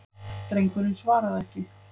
Drengurinn svaraði ekki.